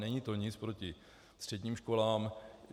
Není to nic proti středním školám.